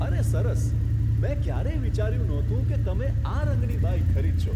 અરે, સરસ! મેં ક્યારેય વિચાર્યું નહોતું કે તમે આ રંગની બાઇક ખરીદશો.